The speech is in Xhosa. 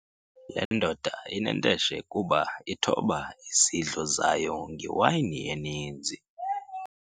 Le ndoda inenteshe kuba ithoba izidlo zayo ngewayini eninzi.